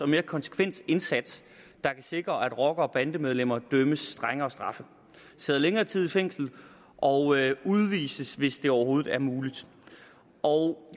mere konsekvent indsats der kan sikre at rockere og bandemedlemmer idømmes strengere straffe sidder længere tid i fængsel og udvises hvis det overhovedet er muligt og